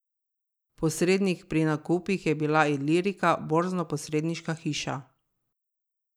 Posrednik pri nakupih je bila Ilirika borznoposredniška hiša.